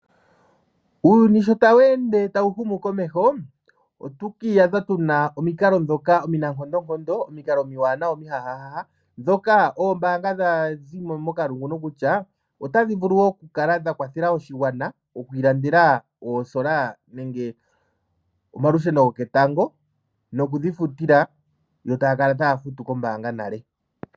Uuyuni sho tawu ende tawu humu komeho otatu kiiyadha tuna omikalo ndhoka omina nkondonkondo, omikalo omiwanawa omihahaha ndhoka ombaanga dha zimo mokalungu kutya otadhi vuku oku kala dha kwathela oshigwana okwii landela oosola nenge omalusheno goketango nokudhifutila yo taya kala taya futu kombaanga nale.